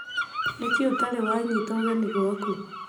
Nĩ kĩĩ ũtarĩ waanyita ũgeni gwaku?